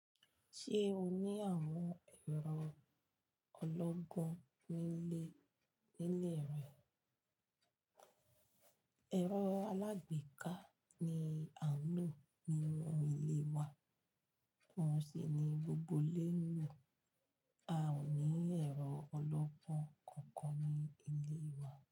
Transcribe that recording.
Ṣé o ní àwọn ẹ̀rọ ọlọ́gbọ́n nílé, nílé rẹ? Ẹ̀rọ alágbèéká ni à ń lò nínú ilé wa, ohun sì ni gbogbo ilé ń lò. A ò ní ẹ̀rọ ọlọ́gbọ́n kankan ní ilé wa.